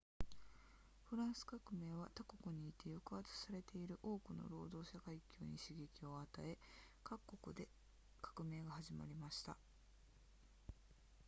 フランス革命は他国にいて抑圧されている多くの労働者階級に刺激を与え各国で革命が始まりました